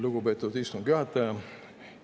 Lugupeetud istungi juhataja!